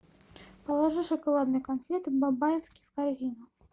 положи шоколадные конфеты бабаевский в корзину